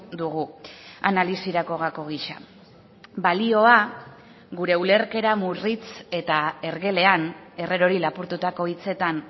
dugu analisirako gako gisa balioa gure ulerkera murritz eta ergelean herrerori lapurtutako hitzetan